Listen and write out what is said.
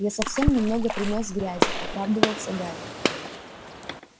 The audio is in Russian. я совсем немного принёс грязи оправдывался гарри